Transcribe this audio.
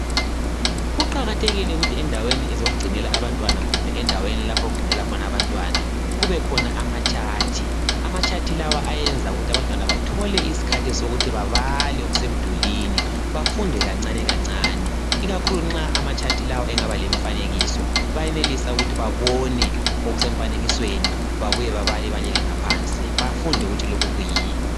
Kuqakathekile ukuthi endaweni zokugcinela abantwana kumbe endaweni lapho okufundela khona abantwana kubekhona amachart. Amachart lawa ayenza ukuthi abantwana bathole isikhathi sokuthi babale okusemdulini bafunde kancane kancane ikakhulu nxa amachart lawa engaba lemfanekiso bayenelisa ukuthi babone okusemfanekisweni babuye babale ibala elingaphansi bafunde ukuthi lokhu kuyini.